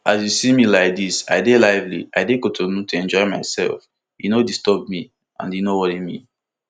as you see me like dis i dey lively i dey kotinu to enjoy myself e no disturb me and e no dey worry me